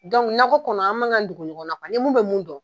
nakɔ kɔnɔ an man k'an dongo ɲɔgɔn ni mun bɛ mun dɔn